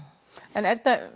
en